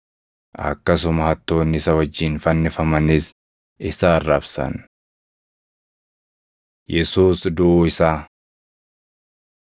Akkasuma hattoonni isa wajjin fannifamanis isa arrabsan. Yesuus Duʼuu Isaa 27:45‑56 kwf – Mar 15:33‑41; Luq 23:44‑49